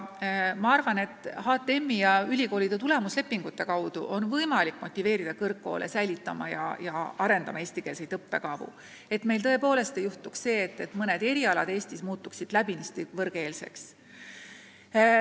Ma arvan, et HTM-i ja ülikoolide tulemuslepingute kaudu on võimalik motiveerida kõrgkoole hoidma ja arendama eestikeelseid õppekavu, et meil tõepoolest ei juhtuks see, et mõned erialad Eestis muutuvad läbinisti võõrkeelseks.